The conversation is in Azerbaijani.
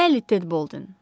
Bəli, Ted Boldin.